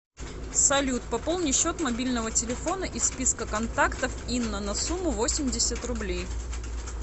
салют пополни счет мобильного телефона из списка контактов инна на сумму восемьдесят рублей